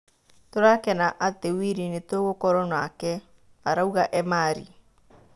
Tũrakena atĩ Wili nĩtũgũkorwo nake" , arauga Emari.